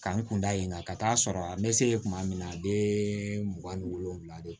Ka n kun da yen nga ka taa sɔrɔ a me se yen tuma min na a bɛ mugan ni wolonwula de